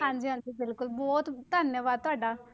ਹਾਂਜੀ ਹਾਂਜੀ ਬਿਲਕੁਲ ਬਹੁਤ ਧੰਨਵਾਦ ਤੁਹਾਡਾ।